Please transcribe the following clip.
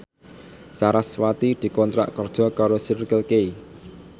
sarasvati dikontrak kerja karo Circle K